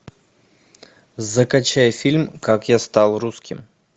закачай фильм как я стал русским